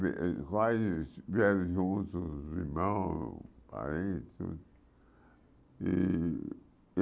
Eh eh Vários vieram juntos os irmãos, parentes. E